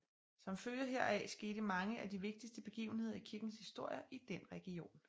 Som følge heraf skete mange af de vigtigste begivenheder i kirkens historie i den region